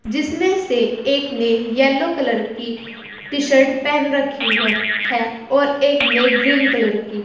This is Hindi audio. जिसमें से एक ने येलो कलर की टी शर्ट पहन रखी हु है और एक ने ग्रीन कलर की।